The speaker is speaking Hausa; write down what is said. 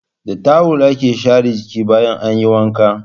Da tawul ake share jiki bayan an yi wanka.